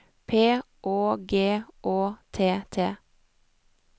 P Å G Å T T